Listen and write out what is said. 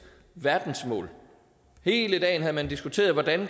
verdensmål hele dagen havde man diskuteret hvordan